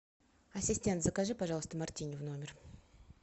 ассистент закажи пожалуйста мартини в номер